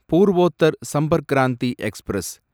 Purvottar Sampark Kranti express